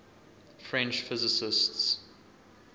french physicists